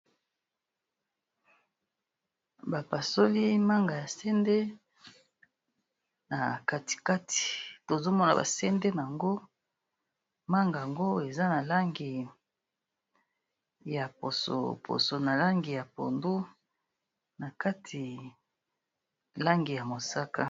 Ba pasoli manga ya sende na kati kati tozo mona ba sende nango. Manga yango eza na langi ya poso, poso na langi ya pondu, na kati langi ya mosaka.